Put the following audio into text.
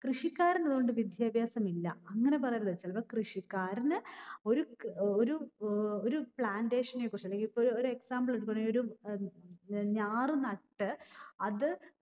കൃഷിക്കാരന് അതോണ്ട് വിദ്യാഭ്യാസം ഇല്ല. അങ്ങിനെ പറയരുത്. ചെലപ്പം കൃഷിക്കാരന്‍ ഒരു ഏർ ഒരു ഏർ ഒരു plantation നിന്നെ കുറിച്ചുള്ള ഈപഒരു example ഇതുപോലെ ഒരു ഞാറ് നട്ട് അത്